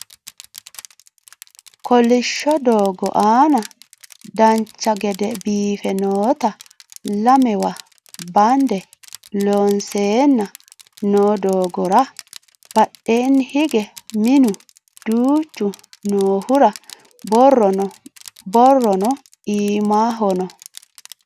kolishsho doogo aana dancha gede biiffe noota lamewa bande loonseenna noo doogora badheeni hige minu duuchu noohura borrono iimaho no